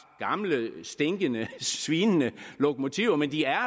gamle stinkende svinende lokomotiver men de er